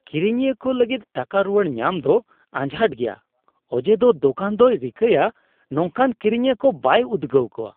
ᱠᱤᱨᱤᱧᱤᱭᱟᱹ ᱠᱚ ᱞᱟᱹᱜᱤᱫ ᱴᱟᱠᱟ ᱨᱩᱣᱟᱹᱲ ᱧᱟᱢ ᱫᱚ ᱟᱡᱷᱟᱴ ᱜᱮᱭᱟ ᱚᱡᱮᱫᱚ ᱫᱳᱠᱟᱱ ᱫᱚᱭ ᱨᱤᱠᱟᱹᱭᱟ ᱱᱚᱝᱠᱟᱱ ᱠᱤᱨᱤᱧᱤᱭᱟᱹ ᱠᱚ ᱵᱟᱭ ᱩᱫᱽᱜᱟᱹᱣ ᱠᱚᱣᱟ ᱾